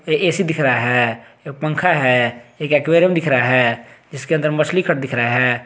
AC दिख रहा है एक पंखा है एक एक्वेरियम दिख रहा हैजिसके अंदर मछली कट दिख रहा है।